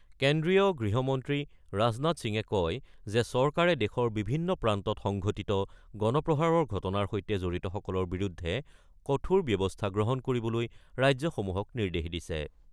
কেন্দ্ৰীয় গৃহ মন্ত্ৰী ৰাজনাথ সিঙে কয় যে, চৰকাৰে দেশৰ বিভিন্ন প্ৰান্তত সংঘটিত গণপ্ৰহাৰৰ ঘটনাৰ সৈতে জড়িতসকলৰ বিৰুদ্ধে কঠোৰ ব্যৱস্থা গ্ৰহণ কৰিবলৈ ৰাজ্যসমূহক নিৰ্দেশ দিছে।